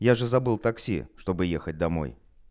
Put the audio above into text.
я же забыл такси чтобы ехать домой